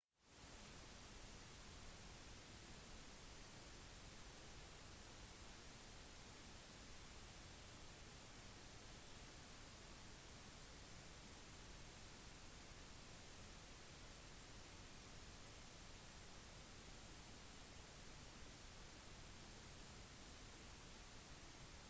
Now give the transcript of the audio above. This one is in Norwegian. eighmey og mccord identifiserte også «personlig engasjement» og «vedvarende relasjoner» som nye motivasjon aspekter da de etterforsket publikums reaksjoner til nettsteder 1998